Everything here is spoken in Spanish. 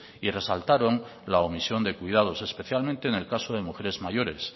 y resaltaron la omisión de cuidados especialmente en el caso de mujeres mayores